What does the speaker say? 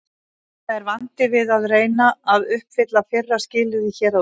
Þetta er vandinn við að reyna að uppfylla fyrra skilyrðið hér að ofan.